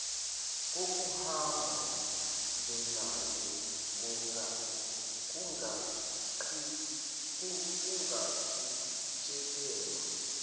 kokuhamba ndlelanye kungaqhutshekelwa